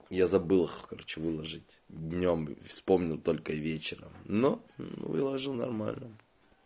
я забыл их короче выложить днём вспомнил только и вечером но выложил нормально